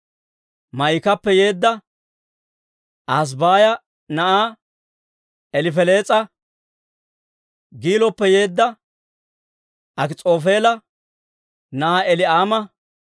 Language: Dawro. Maa'ikappe yeedda Ahasabaaya na'aa Elifelees'a, Giiloppe yeedda Akis'oofeela na'aa Elii'aama,